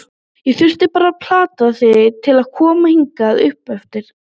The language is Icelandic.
Ég þurfti bara að plata þig til að koma hingað uppeftir.